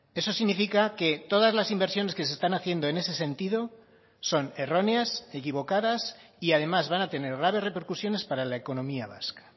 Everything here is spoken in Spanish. eso significa que todas las inversiones que se están haciendo en ese sentido son erróneas equivocadas y además van a tener graves repercusiones para la economía vasca